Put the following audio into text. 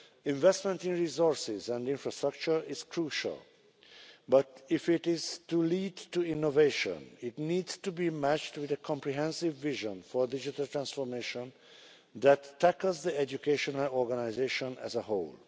Investment in resources and infrastructure is crucial but, if it is to lead to innovation, it needs to be matched with a comprehensive vision for digital transformation that tackles the educational organisation as a whole.